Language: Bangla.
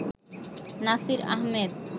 নাসির আহমেদ